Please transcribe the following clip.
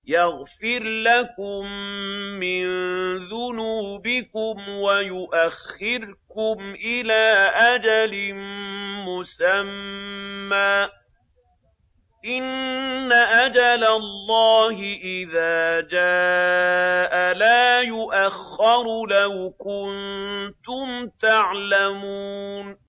يَغْفِرْ لَكُم مِّن ذُنُوبِكُمْ وَيُؤَخِّرْكُمْ إِلَىٰ أَجَلٍ مُّسَمًّى ۚ إِنَّ أَجَلَ اللَّهِ إِذَا جَاءَ لَا يُؤَخَّرُ ۖ لَوْ كُنتُمْ تَعْلَمُونَ